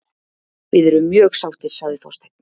Við erum mjög sáttir, sagði Þorsteinn.